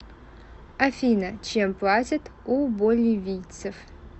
афина чем платят у боливийцев